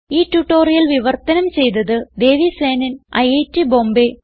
ഈ ട്യൂട്ടോറിയൽ വിവർത്തനം ചെയ്തത് ദേവി സേനൻ ഐറ്റ് ബോംബേ